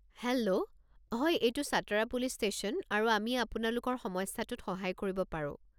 Hello, হয় এইটো Satara police station আৰু আমি আপোনালোকৰ সমস্যাটোত সহায় কৰিব পাৰো।